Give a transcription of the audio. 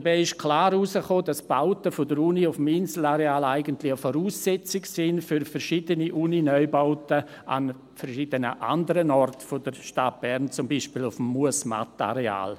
Dabei kam klar heraus, dass die Bauten der Uni auf dem Inselareal eigentlich eine Voraussetzung sind für verschiedene Uni-Neubauten an verschiedenen anderen Orten der Stadt Bern, zum Beispiel auf dem Muesmatt-Areal.